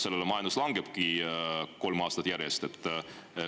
Selle tõttu majandus langebki kolm aastat järjest.